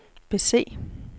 bese